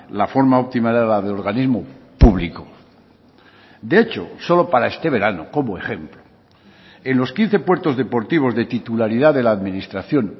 la forma óptima era la de organismo público de hecho solo para este verano como ejemplo en los quince puertos deportivos de titularidad de la administración